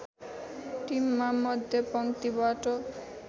टिममा मध्यपङ्क्तिबाट